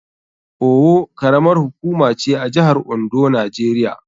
Owo karamar hukuma ce a jihar Ondo, Najeriya.